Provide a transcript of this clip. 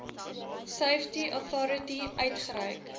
safety authority uitgereik